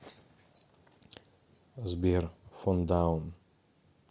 сбер фон даун